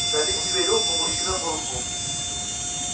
налив себе рюмку мужчина буркнул